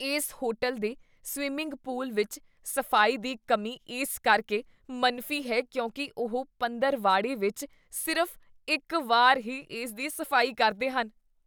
ਇਸ ਹੋਟਲ ਦੇ swimming pool ਵਿੱਚ ਸਫ਼ਾਈ ਦੀ ਕਮੀ ਇਸ ਕਰਕੇ ਮਨਫ਼ੀ ਹੈ ਕਿਉਂਕਿ ਉਹ ਪੰਦਰਵਾੜੇ ਵਿੱਚ ਸਿਰਫ਼ ਇੱਕ ਵਾਰ ਹੀ ਇਸ ਦੀ ਸਫ਼ਾਈ ਕਰਦੇ ਹਨ।